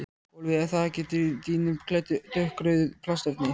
Gólfið er þakið dýnum klæddum dökkrauðu plastefni.